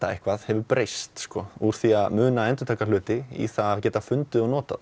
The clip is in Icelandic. eitthvað hefur breyst úr því að muna og endurtaka hluti í að geta fundið og notað